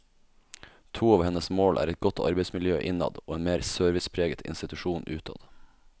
To av hennes mål er et godt arbeidsmiljø innad og en mer servicepreget institusjon utad.